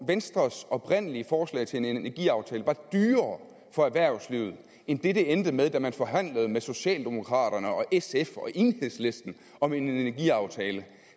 venstres oprindelige forslag til en energiaftale var dyrere for erhvervslivet end den det endte med da man forhandlede med socialdemokraterne sf og enhedslisten om en energiaftale